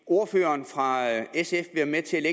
ordføreren fra sf være med til at